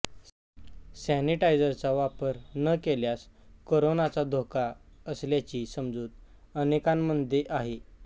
सॅनिटायझरचा वापर न केल्यास कोरोनाचा धोका असल्याची समजूत अनेकांमध्ये आहे